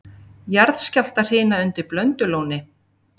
Jarðskjálftahrina undir Blöndulóni